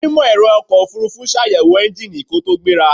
Onímọ̀-ẹ̀rọ ọkọ̀ ofurufú ṣàyẹ̀wò ẹ́ńgíìnì kó tó gbéra.